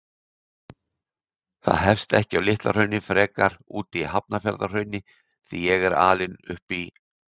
Það hefst ekki á Litla-Hrauni, frekar úti í Hafnarfjarðarhrauni, því ég er alinn upp í